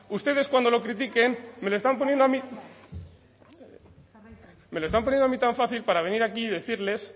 ustedes cuando lo critiquen me lo están poniendo a mí me lo están poniendo a mí tan fácil para venir aquí y decirles